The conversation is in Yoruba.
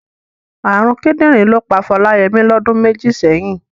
Ààrùn kídìrín ló pa Fọláyẹmí lọdún méjì sẹ́yìn.